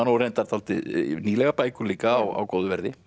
og reyndar dálítið nýlegar bækur líka á góðu verði